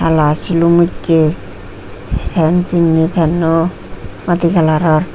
hala silum ussey pen pinney penno madi kalaror.